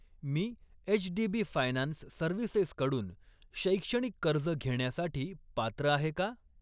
मी HDB finance services कडून शैक्षणिक कर्ज घेण्यासाठी पात्र आहे का?